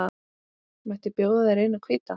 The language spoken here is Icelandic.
Mætti bjóða þér eina hvíta.